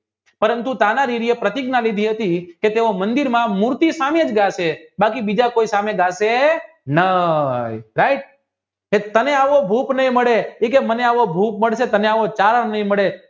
પરંતુ તાનાજીએ પ્રતિજ્ઞા લીધી હતી કે કે તેઓ મંદિરમાં મૂર્તિ સામે જ ગાશે બાકી બીજા કોઈ સામે ગાશે નય right તમે આવો ભૂખ નહિં મળે તમે આવો તરણ નહિ મળે